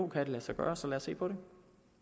kan det lade sig gøre så lad os se på det